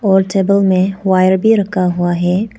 और टेबल में वायर भी रखा हुआ है।